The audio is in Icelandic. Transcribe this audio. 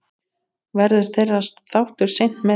Verður þeirra þáttur seint metinn.